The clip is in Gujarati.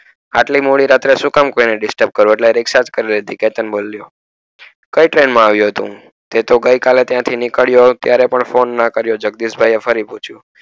આટલી મોડી રાત્રે સુ કામ કોઈ ને destape કરવું એટલે રીક્ષા જ કરી લીધી કય train માં આવીયો તું તે તો ગઈ કાલે ત્યારે પણ phone ના કરીયો જગદીશ ભાઈ એ ફરી થી